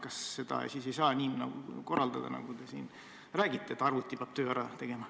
Kas seda siis nii ei saa korraldada, nagu te siin räägite, et arvuti teeb töö ära?